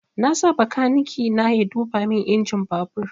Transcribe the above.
Na sa bakaniki na ya duba min injin babur